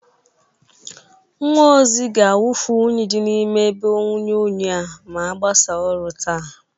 Nwa ozi ga-awụfụ unyi dị na ime ebe inwunye unyi a ma agbasa ọrụ taa.